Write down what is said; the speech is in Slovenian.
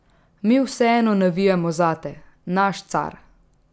Mi vseeno navijamo zate, naš car!